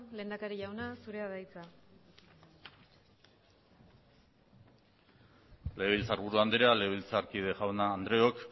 lehendakari jauna zurea da hitza legebiltzarburu anderea legebilzarkide jaun andreok